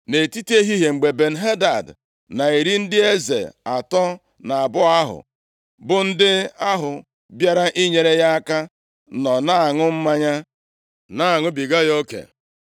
Nʼetiti ehihie, mgbe Ben-Hadad na iri ndị eze atọ na abụọ ahụ, bụ ndị ahụ bịara inyere ya aka nọ na-aṅụ mmanya, na-aṅụbiga ya oke,